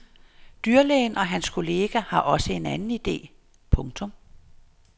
Dyrlægen og hans kollega har også en anden ide. punktum